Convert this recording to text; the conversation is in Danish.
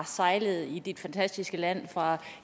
har sejlet i dit fantastiske land fra